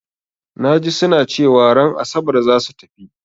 Na ji su na cewa ran Asabar za su tafi.